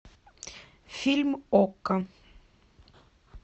фильм окко